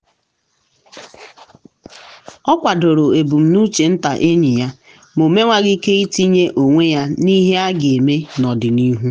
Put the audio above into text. o kwadoro ebumnuche nta enyi ya ma o mewaghị ike itinye onwe ya n’ihe a ga-eme n’ọdịnihu.